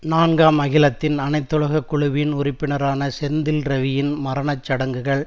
நான்காம் அகிலத்தின் அனைத்துலக குழுவின் உறுப்பினரான செந்தில் ரவியின் மரண சடங்குகள்